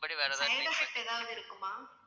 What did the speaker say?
ஏதாவது இருக்குமா